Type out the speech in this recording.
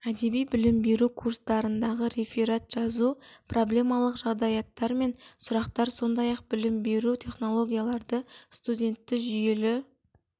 әдеби білім беру курстарындағы реферат жазу проблемалық жағдаяттар мен сұрақтар сондай-ақ білім беру технологиялары студентті жүйелі